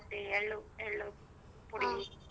ರೊಟ್ಟಿ ಎಳ್ಳು ಎಳ್ಳು .